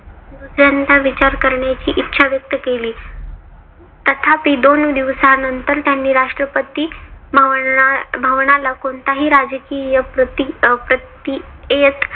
दुसऱ्यांदा विचार करण्याची इच्छा व्यक्त केली. तथापि दोन दिवसानंतर त्यांनी राष्ट्रपती भवनाला कोणताही राजकीय